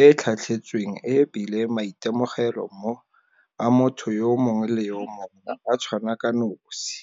e e tlhatlhetsweng e bile maitemogelo a motho yo mongwe le yo mongwe a tshwana ka nosi.